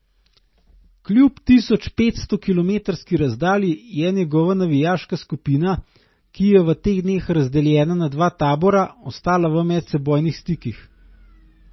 Kljub tisoč petsto kilometrski razdalji je njegova navijaška skupina, ki je v teh dneh razdeljena na dva tabora, ostala v medsebojnih stikih.